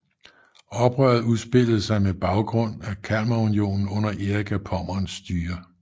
Oprøret udspillede sig mod baggrund af Kalmarunionen under Erik af Pommerns styre